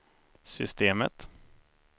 systemet